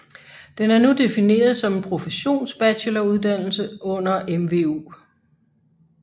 Den er nu defineret som en professsionsbacheloruddannelse under MVU